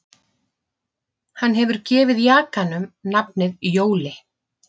Hann hefur gefið jakanum nafnið Jóli